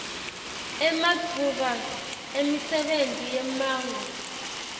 ematfuba emisebenti yemmango